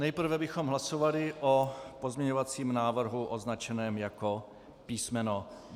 Nejprve bychom hlasovali o pozměňovacím návrhu označeném jako písm.